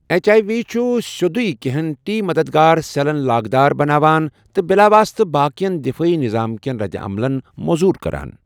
H I V چھُ سیٚودُیہ کینٛہَن ٹی مددگار سیلَن لاگ دار بناوان ، تہٕ بِلاواسطہ باقین دِفٲیی نِظام كین ردِعملن موذوُر كران ۔